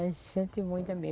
É gente muito mesmo.